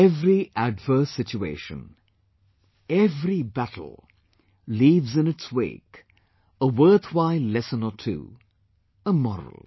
Every adverse situation, every battle leaves in its wake a worthwhile lesson or two; a moral